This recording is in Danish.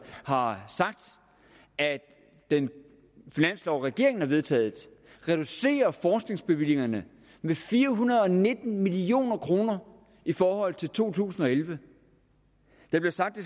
har sagt at den finanslov regeringen har vedtaget reducerer forskningsbevillingerne med fire hundrede og nitten million kroner i forhold til to tusind og elleve der bliver sagt at